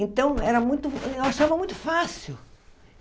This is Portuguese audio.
Então, era muito eu achava muito fácil.